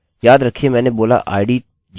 किन्तु हम यह भी लिख सकते हैं and lastname equals garrett